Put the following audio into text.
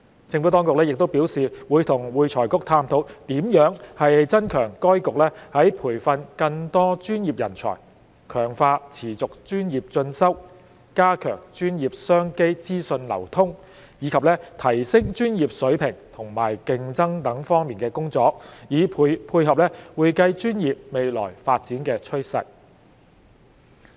政府當局亦表示會與會財局探討如何增強該局在培訓更多專業人才、強化持續專業進修、加強專業商機資訊流通，以及提升專業水平和競爭力等方面的工作，以配合會計專業未來的發展趨勢。